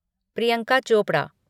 Priyanka Chopra